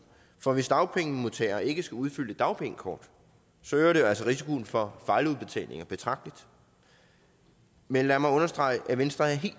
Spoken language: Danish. for hvis dagpengemodtagere ikke skal udfylde et dagpengekort øger det jo altså risikoen for fejludbetalinger betragteligt men lad mig understrege at venstre er helt